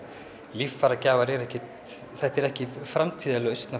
líffæragjafar eru ekki þetta er ekki framtíðarlausn